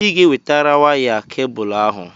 Ị ga-ewetara waya kebụlụ ahụ!